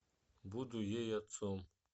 буду ей отцом